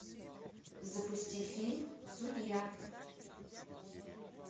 запусти фильм судья